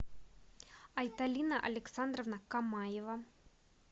айталина александровна камаева